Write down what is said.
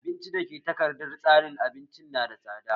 Abinci dake takardar tsarin abincin nada tsada